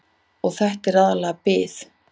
Og þetta er aðallega bið.